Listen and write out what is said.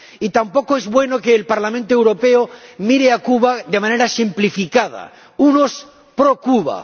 Y tampoco es bueno que el Parlamento Europeo mire a Cuba de manera simplificada unos, pro Cuba